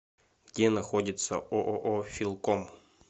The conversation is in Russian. где находится ооо филком